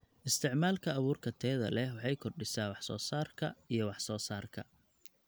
Isticmaalka abuurka tayada leh waxay kordhisaa wax-soo-saarka iyo wax-soo-saarka.